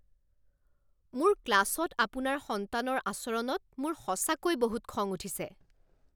মোৰ ক্লাছত আপোনাৰ সন্তানৰ আচৰণত মোৰ সঁচাকৈ বহুত খং উঠিছে!